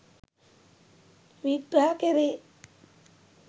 විග්‍රහ කෙරේ.